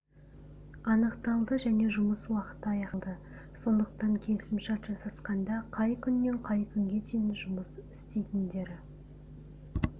анықталды және жұмыс уақыты аяқталды сондықтан келісімшарт жасасқанда қай күннен қай күнге дейін жұмыс істейтіндері